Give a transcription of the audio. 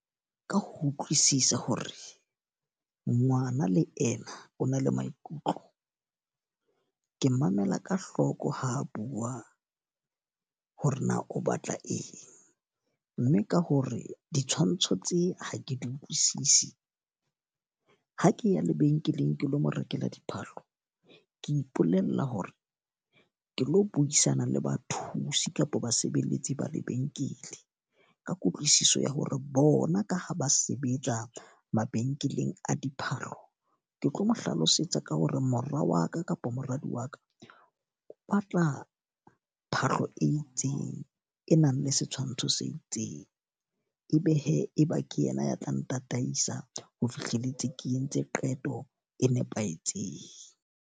Ka ho utlwisisa hore ngwana le ena o na le maikutlo. Ke mamela ka hloko ha bua hore na o batla eng. Mme ka ho re ditshwantsho tse ha ke di utlwisisi, ha ke ya lebenkeleng ke lo mo rekela diphahlo. Ke ipolella hore ke lo buisana le bathusi kapa basebeletsi ba lebenkele, ka kutlwisiso ya hore bona ka ha ba sebetsa mabenkeleng a diphahlo. Ke tlo mo hlalosetsa ka hore mora wa ka kapo moradi wa ka, o batla phahlo e itseng e nang le setshwantsho se itseng. E be he ke yena ya tla ntataisa ho fihlelletse ke entse qeto e nepahetseng.